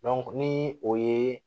ni o ye